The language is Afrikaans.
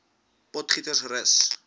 potgietersrus